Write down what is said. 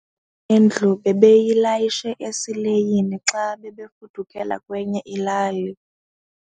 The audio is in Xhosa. yendlu bebeyilayishe esileyini xa bebefudukela kwenye ilali.